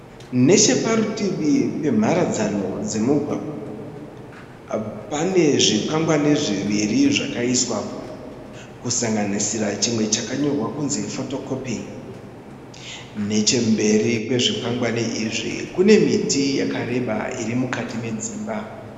Necheparutivi pemharadzano dzemugwagwa panezvikwangwani zviviri zvakaiswapo kusanganisira chimwe chakanyorwa kuti photokopi. Nechemberi kwezvikwangwani izvi kunemiti yakareba irimukati medzimba.